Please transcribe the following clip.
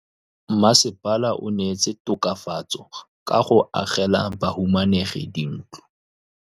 Mmasepala o neetse tokafatsô ka go agela bahumanegi dintlo.